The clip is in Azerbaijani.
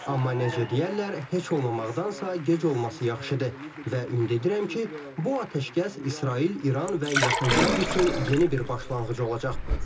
Amma necə deyərlər, heç olmamaqdansa gec olması yaxşıdır və ümid edirəm ki, bu atəşkəs İsrail, İran və Yaxın Şərq üçün yeni bir başlanğıc olacaq.